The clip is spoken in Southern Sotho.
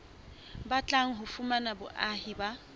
batlang ho fumana boahi ba